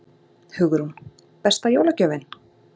Hugrún: Besta jólagjöfin?